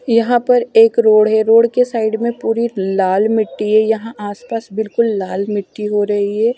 यहां पर एक रोड़ है रोड़ के साइड में पूरी लाल मिट्टी है यहां आस पास बिल्कुल लाल मिट्टी हो रही है।